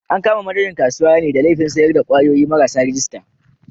An kama manajan kasuwar ne da laifin sayar da kwayoyi marasa rajista.